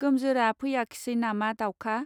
गोमजोरा फैयाखिसै नामा दावखा.